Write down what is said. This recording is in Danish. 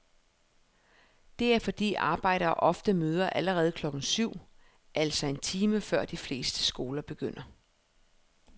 Det er fordi arbejdere ofte møder allerede klokken syv, altså en time før de fleste skoler begynder.